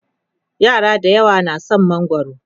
yara dayawa na da San mangwaro